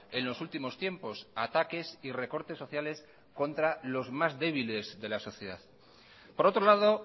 en los últimos tiempos ataques y recortes sociales contra los más débiles de la sociedad por otro lado